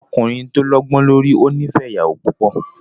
Ọkùnrin tó lọ́gbó lórí ò ní fẹ ìyàwó púpọ̀.